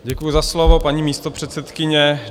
Děkuji za slovo, paní místopředsedkyně.